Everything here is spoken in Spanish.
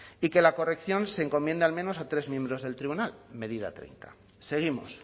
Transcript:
y que la corrección se encomiende al menos a tres miembros del tribunal medida treinta seguimos